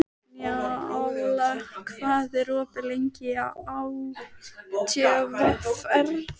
Njála, hvað er opið lengi í ÁTVR?